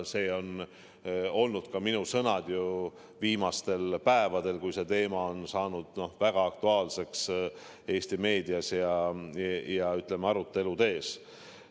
Need on olnud minu sõnad ju ka viimastel päevadel, kui see teema on saanud väga aktuaalseks Eesti meedias ja, ütleme, aruteludes.